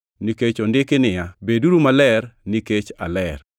nikech ondiki niya, “Beduru maler nikech aler.” + 1:16 \+xt Lawi 11:44,45; 19:2\+xt*